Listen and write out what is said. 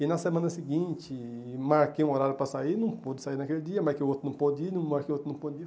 E na semana seguinte, marquei um horário para sair, não pôde sair naquele dia, marquei outro, não pôde ir, não marquei outro, não pôde ir.